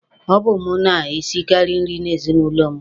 Ọ bụ mụ na-esikaari nri n'ezinụlọ mụ.